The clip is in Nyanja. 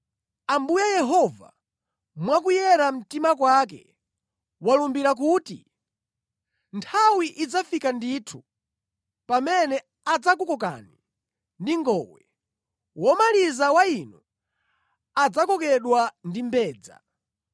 Ambuye Yehova, mwa kuyera mtima kwake walumbira kuti, “Nthawi idzafika ndithu pamene adzakukokani ndi ngowe, womaliza wa inu adzakokedwa ndi mbedza.